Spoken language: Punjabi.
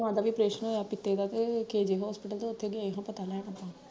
ਉਹ ਕਹਿੰਦਾ ਵੀ ਪ੍ਰੇਸ਼ਨ ਹੋਇਆ ਪਿੱਤੇ ਦਾ ਤੇ kg hospital ਤੇ ਓਥੇ ਗਯਾ ਸਾ ਪਤਾ ਲੈਣ ਆਪਾਂ